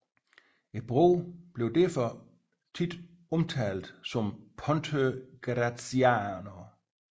Broen blev derfor ofte omtalt som Ponte Graziano